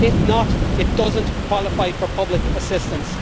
If not, it does not qualify for public assistance.